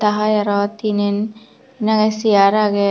ta hai araw tinen nangey seyar agey.